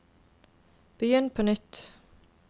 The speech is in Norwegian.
begynn på nytt